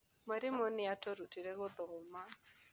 Mwarimũ nĩ atũrutĩte gũthoma.